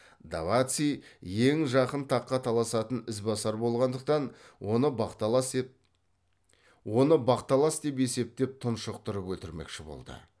даваци ең жақын таққа таласатын ізбасар болғандықтан оны бақталас деп есептеп тұншықтырып өлтірмекші болды